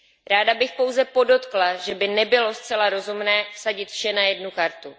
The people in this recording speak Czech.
Ráda bych pouze podotkla, že by nebylo zcela rozumné vsadit vše na jednu kartu.